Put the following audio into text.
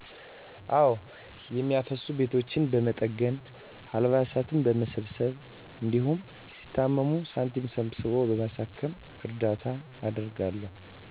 አወ። የሚያፈስ ቤቶችን በመጠገን፣ አልባሳት በመሰብሰብ፣ እንዲሁም ሲታመሙ ሳንቲም ሰብስቦ በማሳከም እርዳታ አደርጋለሁ።